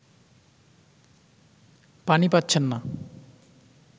পানি পাচ্ছেন না